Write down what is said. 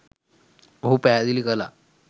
ඔහු පැහැදිලි කලා.